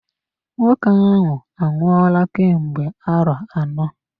Nwoke ahụ anwụola kemgbe arọ anọ.